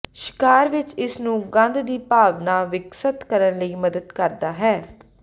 ਸ਼ਿਕਾਰ ਵਿਚ ਇਸ ਨੂੰ ਗੰਧ ਦੀ ਭਾਵਨਾ ਵਿਕਸਤ ਕਰਨ ਲਈ ਮਦਦ ਕਰਦਾ ਹੈ